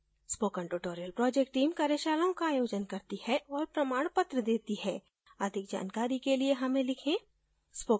spoken tutorial project team कार्यशालाओं का आयोजन करती है और प्रमाणपत्र देती है अधिक जानकारी के लिए हमें लिखें